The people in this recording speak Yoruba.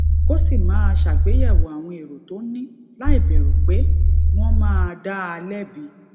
kó sì máa ṣàgbéyèwò àwọn èrò tó ní láìbèrù pé wón máa dá a lébi